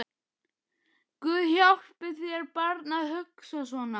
Guð hjálpi þér barn að hugsa svona